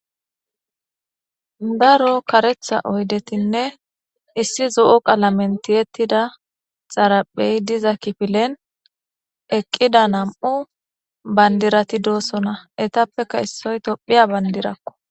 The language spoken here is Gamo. Daro kareththa oydetinne issi zo'o qalamen tiyetida xaraphey diza kifilen eqqida nam'u bandirati doosona; eetappeka issoy tophphiya bandirako.